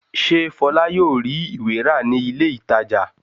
Ṣé Fọlá yóò rí ìwé rà ní ilé-ìtajà?